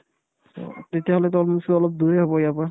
তেতিয়াহ'লেতো অলপ কিছু অলপ দূৰে হ'ব ইয়াৰ পৰা